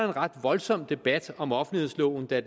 en ret voldsom debat om offentlighedsloven da